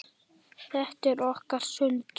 Þetta er okkar stund.